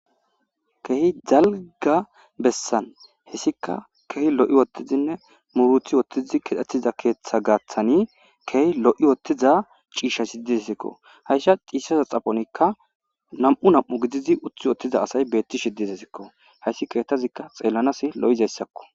Keehi jalga bessan hessika kehi lo7i wottizinne muruthi wottizi kidhetiza keeththa gaaththani keh lo7i wottiza ciisha sidizsikko hayssha xiissaza xaponikka nam7u nam7u gidizi uthi wottiza asay beetti shiddize sikko hayssi keetazikka xeellanas lo7izayssakko.